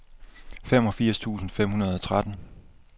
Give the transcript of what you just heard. femogfirs tusind fem hundrede og tretten